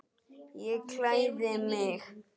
Ég klæði mig.